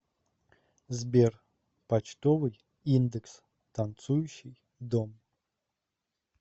сбер почтовый индекс танцующий дом